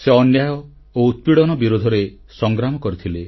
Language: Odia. ସେ ଅନ୍ୟାୟ ଓ ଉତ୍ପୀଡ଼ନ ବିରୋଧରେ ସଂଗ୍ରାମ କରିଥିଲେ